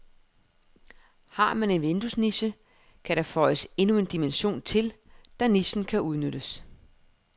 Har man en vinduesniche, kan der føjes endnu en dimension til, da nichen kan udnyttes.